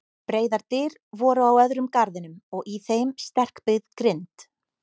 Breiðar dyr voru á öðrum garðinum og í þeim sterkbyggð grind.